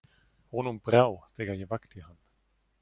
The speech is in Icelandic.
Honum brá þegar ég vakti hann.